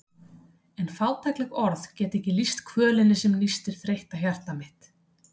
En fátækleg orð geta ekki lýst kvölinni sem nístir þreytta hjartað mitt.